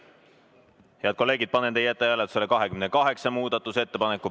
Head kolleegid, panen teie ette hääletusele 28. muudatusettepaneku.